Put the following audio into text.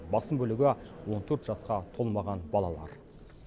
басым бөлігі он төрт жасқа толмаған балалар